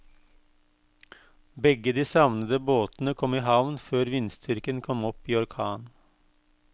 Begge de savnede båtene kom i havn før vindstyrken kom opp i orkan.